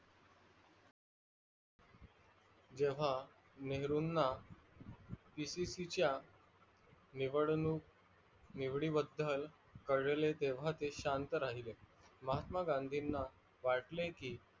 जेव्हा नेहरूणा pcc च्या निवडणूनकी बदल कळले तेव्हा ते शांत राहीले महात्मा गांधीणा वाटले की